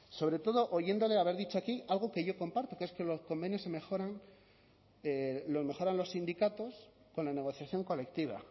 sobre todo oyéndole haber dicho algo que yo comparto que es que los convenios se mejoran los mejoran los sindicatos con la negociación colectiva